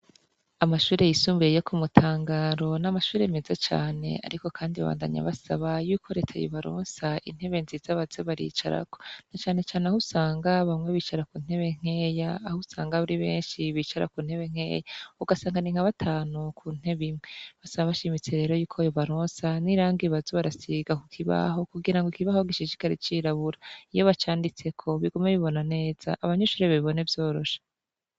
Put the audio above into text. Amashure yisumbiye yo ku mutangaro n'amashure meze cane, ariko, kandi babandanya basaba yuko reteye baronsa intebe nziza baze baricarako na canecane aho usanga bamwe bicara ku ntebe nkeya aho usanga aburi benshi bicara ku ntebe nkeya ugasanganinkabatanu ku ntebe imwe basaba bashimitse rero yuko yo baronsa nir kbazo barasiga ku kibaho kugira ngo ikibaho gishishikare cirabura iyo bacanditseko bigume bibona neza abanyushure babibone vyorosha.